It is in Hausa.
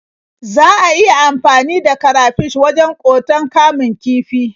Za a iya amfani da karafish wajen ƙoton kamun kifi.